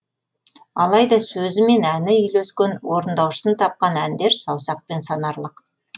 алайда сөзі мен әні үйлескен орындаушысын тапқан әндер саусақпен санарлық